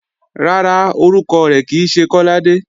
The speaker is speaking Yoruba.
Rárá, orúkọ rẹ̀ kì í ṣe Kọ́ládé